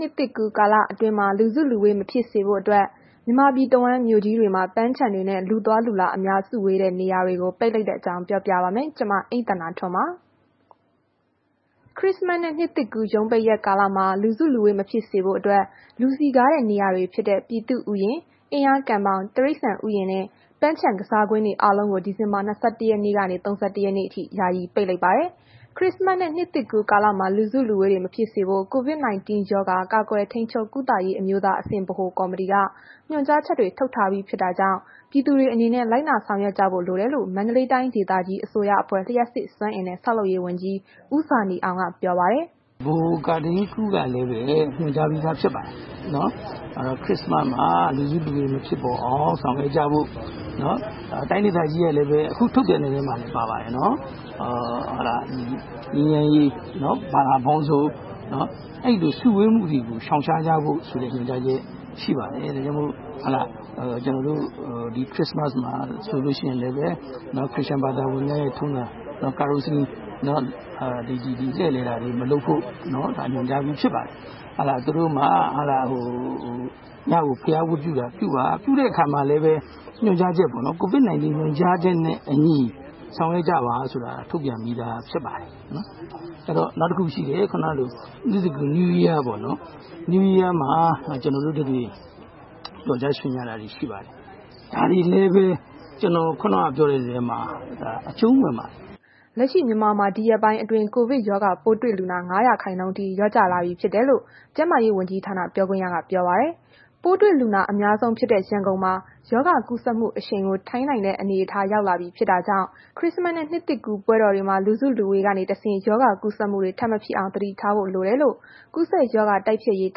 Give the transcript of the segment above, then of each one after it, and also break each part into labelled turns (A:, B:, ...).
A: နှစ်သစ်ကူးကာလအတွင်းမှာ လူစုလူဝေးမဖြစ်စေဖို့အတွက် မြန်မာပြည်တဝန်း မြို့ကြီးတွေမှာ ပန်းခြံတွေနဲ့ လူအသွားအလာအစုအဝေးများတဲ့ နေရာတွေကို ပိတ်လိုက်တဲ့ အကြောင်းကို ဗွီအိုအေမြန်မာပိုင်း သတင်းထောက် မအိမ့်သန္တာထွန်းက ပြောပြပါမယ်။ ခရစ္စမတ်နှင့် နှစ်သစ်ကူးရုံးပိတ်ရက်ကာလမှာ လူစုလူဝေးမဖြစ်စေဖို့အတွက် လူစည်ကားတဲ့ နေရာတွေဖြစ်တဲ့ ပြည်သူ့ဥယျာဉ်၊ အင်းယားကန်ဘောင်၊ တိရိစ္ဆာန်ဥယျာဉ်နဲ့ ပန်းခြံကစားကွင်းတွေ အားလုံးကို ဒီဇင်ဘာလ ၂၁ ရက်နေ့ကနေ ၃၁ ရက်နေ့အထိ ယာယီပိတ်လိုက်ပါတယ်။ ခရစ္စမတ်နှင့် နှစ်သစ်ကူးကာလမှာ လူစုလူဝေးမဖြစ်ဖို့ COVID 19 ရောဂါ ကာကွယ်ထိန်းချုပ်ကုသရေး အမျိုးသားအဆင့် ဗဟိုကော်မတီက ညွှန်ကြားချက်တွေ ထုတ်ထားပြီးဖြစ်တာကြောင့် ပြည်သူတွေအနေနဲ့ လိုက်နာဆောင်ရွက်ကြဖို့ လိုတယ်လို့ မန္တလေးတိုင်းဒေသကြီး အစိုးရအဖွဲ့ လျှပ်စစ်စွမ်းအင်နဲ့ ဆောက်လုပ်ရေးဝန်ကြီး ဦးဇာနည်အောင်က ပြောပါတယ်
B: ။ “ဗဟို ကာထိန်းကုကလည်းပဲ ညွှန်ကြားပြီးသားဖြစ်ပါတယ်။ ခရစ္စမတ်မှာ လူစုလူဝေးမဖြစ်ပေါ်အောင် ဆောင်ရွက်ကြဖို့ တိုင်းဒေသကြီးက ခုထုတ်ပြန်တဲ့ထဲမှာလည်း ပါပါတယ်နော်။ ဘာသာပေါင်းစုံ အဲ့ဒီလို စုဝေးမှုတွေကို ရှောင်ရှားကြဖို့ဆိုတဲ့ ညွှန်ကြားချက် ရှိပါတယ်။ ဒါကြောင့်မို့ ကျနော်တို့ ဒီ ခရစ္စမတ်မှာဆိုလို့ရှိရင်လည်း ခရစ်ယာန်ဘာသာဝင်တွေရဲ့ ထုံးစံ သီချင်းဆို လှည့်လည်တာတွေ မလုပ်ဖို့ ညွှန်ကြားပြီးဖြစ်ပါတယ်။ ညကို ဘုရားဝတ်ပြုတဲ့ အခါမှာလည်းပဲ ကိုဗစ်ညွှန်ကြားချက်နဲ့ အညီ ဆောင်ရွက်ကြပါဆိုတာ ထုတ်ပြန်ပြီးသားဖြစ်ပါတယ်။ နောက်တစ်ခု ရှိတယ်။ နှစ်သစ်ကူး New Year ပေါ့နော်။ အဲ့ဒီမှာ ကျနော်တို့တတွေ ပျော်ကြရွှင်ကြတာတွေ ရှိပါတယ်
A: ။ ဒါတွေလည်း
B: ပဲ ကျနော် ခုဏက ပြောတဲ့ထဲမှာ အကျုံးဝင်ပါတယ်။”
A: လက်ရှိ မြန်မာမှာ ဒီရက်ပိုင်းအတွင်း ကိုဗစ်ရောဂါပိုးတွေ့လူနာ ၅ ရာခိုင်နှုန်းအထိ လျော့ကျလာပြီ ဖြစ်တယ်လို့ ကျန်းမာရေးဝန်ကြီးဌာန ပြောခွင့်ရက ပြောပါတယ်။ ပိုးတွေ့လူနာ အများဆုံးဖြစ်တဲ့ ရန်ကုန်မှာ ရောဂါကူးစက်မှု အရှိန်ကို ထိန်းနိုင်တဲ့ အနေအထားဖြစ်လာပြီ ဖြစ်တာကြောင့် ခရစ္စမတ်နှင့် နှစ်သစ်ကူးပွဲတော်တွေမှာ လူစုလူဝေးကတစ်ဆင့် ရောဂါကူးစက်မှုတွေ ထပ်မဖြစ်အောင် သတိထားဖို့လိုတယ်လို့ ကူးစက်ရောဂါတိုက်ဖျက်ရေး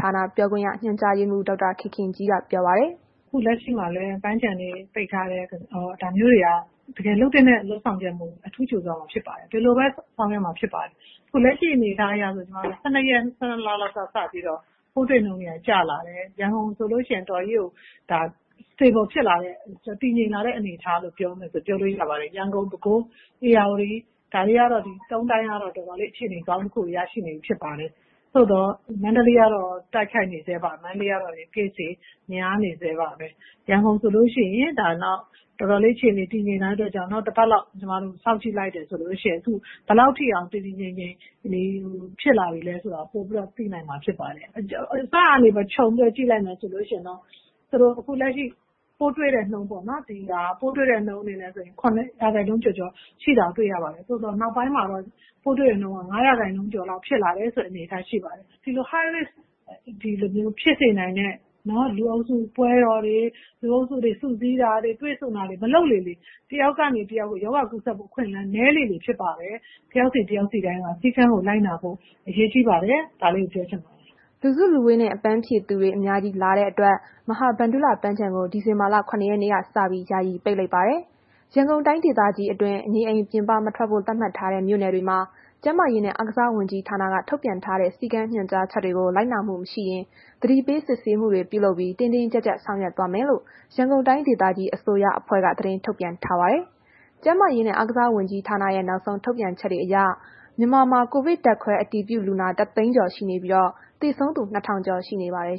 A: ဌာန ပြောခွင့်ရ ညွှန်ကြားရေးမှူး ဒေါက်တာခင်ခင်ကြီးက VOA ကို ပြောပါတယ်။ “အခုလက်ရှိမ
C: ှာလည်း ပန်းခြံတွေပိတ်ထားတယ်ဆိုတာမျိုး ဒါမျိုးတွေက တကယ်လုပ်သင့်တဲ့ လုပ်ဆောင်ချက်တွေဖြစ်တာကြောင့် အထူးကြိုဆိုရမှာဖြစ်ပါတယ်။ ဒီလိုပဲ ဆောင်ရွက်ရမှာဖြစ် ပါတယ်။ အခုလက်ရှိ အနေအထားအရဆိုရင် ကျမတို့ ၁၂ ရက် ၁၂ လလောက်ကနေ စပြီးတော့ ပိုးတွေ့နှုန်းတွေက ကျလာတယ်။ ရန်ကုန်ဆိုလို့ရှိရင် တော်တော်ကြီးကို တည်ငြိမ်လာတဲ့ အနေအထား လို့ ပြောမယ်ဆို ပြောလို့ရပါတယ်။ ရန်ကုန်၊ ပဲခူး၊ ဧရာဝတီ ဒီ ၃ တိုင်းကတော့ တော်တော်လေးကို ကောင်းမွန်တဲ့ အခြေအနေတစ်ခုကို ရရှိနေပြီဖြစ်ပါတယ်။ သို့သော် မန္တလေးကတော့ Case တွေ တိုးနေဆဲပါပဲ။ ရန်ကုန်ဆိုရင် တော်တော်လေး အခြေအနေတည်ငြိမ်လာတဲ့ အတွက်ကြောင့် နောက်တစ်ပတ်လောက် စောင့်ကြည့်လိုက်တယ် ဆိုလို့ရှိရင် ဘယ်လောက်ထိတောင် တည်တည်ငြိမ်ငြိမ်ဖြစ်လာပြီလဲ ဆိုတာ ပိုပြီးတော့ သိနိုင်မှာဖြစ်ပါတယ်။ အစကနေ ခြုံပြီးတော့ ကြည့်လိုက်မယ်ဆိုလို့ရှိရင်တော့ ခုပိုးတွေ့တဲ့နှုန်းက ၇ ရာခိုင်နှုန်းကျော်ကျော်ရှိတာကိုတွေ့ရပါတယ်။ သို့သော်နောက်ပိုင်းမှာ ပိုးတွေ့နှုန်း က ၅ ရာခိုင်နှုန်းကျော်လောက် ဖြစ်လာတယ်ဆိုတဲ့ အနေအထားဖြစ်ပါတယ်။ ဒီလို High Rise ဖြစ်စေနိုင်တဲ့ လူအုပ်စု ပွဲတော်တွေ လူတွေ တွေ့ဆုံစုစည်းတာတွေ မလုပ်လေလေ တစ်ယောက်ကနေ တစ်ယောက်ကို ရောဂါကူးစက်မှုနှုန်းက နည်းလေလေ ဖြစ်ပါတယ်။ တစ်ယောက်စီ၊ တစ်ယောက်စီတိုင်းက စည်းကမ်းကို လိုက်နာဖို့ အရေးကြီးပါတယ်။ ဒါလေးကို ပြောချင်ပါတယ်။” လူစုလူဝေး
A: နဲ့ အပန်းဖြေသူတွေ အများကြီးလာတဲ့အတွက် မဟာဗန္ဓုလ ပန်းခြံကို ဒီဇင်လာ ၇ ရက်နေ့က စပြီး ယာယီ ပိတ်လိုက်ပါတယ်။ ရန်ကုန်တိုင်းဒေသကြီးအတွင်း နေအိမ်ပြင်ပမထွက်ဖို့ သတ်မှတ်ထားတဲ့ မြို့နယ်တွေမှာ ကျန်းမာရေးနဲ့ အားကစားဝန်ကြီးဌာနကထုတ်ပြန်ထားတဲ့ စည်းကမ်းညွှန်ကြားချက်တွေကို လိုက်နာမှုမရှိရင် သတိပေး စစ်ဆေးမှုတွေပြုလုပ်ပြီး တင်းတင်းကြပ်ကြပ် ဆောင်ရွက်သွားမယ်လို့ ရန်ကုန်တိုင်းဒေသကြီး အစိုးရအဖွဲ့က သတင်းထုတ်ပြန်ထားပါတယ်။ ကျန်းမာရေးနဲ့ အားကစားဝန်ကြီးဌာနရဲ့ နောက်ဆုံးထုတ်ပြန်ချက်တွေအရ မြန်မာမှာ ကိုဗစ်ဓာတ်ခွဲအတည်ပြုလူနာ ၁၀၀,၀၀၀ ကျော်ရှိနေပြီး၊ သေဆုံးသူ ၂,၀၀၀ ကျော်ရှိနေပါတယ်။